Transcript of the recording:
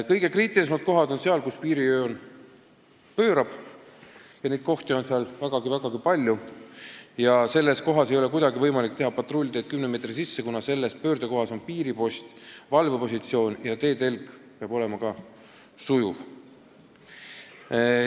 Kõige kriitilisemad kohad on seal, kus piirijoon pöörab – neid kohti on seal vägagi palju –, ja selles kohas ei ole kuidagi võimalik rajada patrullteed 10 meetri laiusele ribale, kuna selles pöördekohas on piiripost ja valvepositsioon, ka peab teetelg olema sujuv.